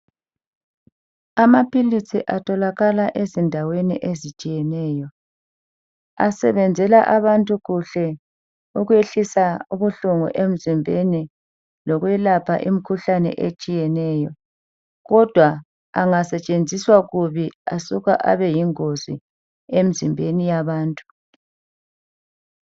Amaphilisi atholakala endaweni ezitshiyeneyo. Asebenzela kuhle abantu, ngoba ayehlisa ubuhlungu abaphakathi kwabo. Abuye abelaphe, uphele lowomkhuhlane. Akhalela, ukusetshenziswa kuhle, ukuze angabi yingozi, emzimbeni yabantu.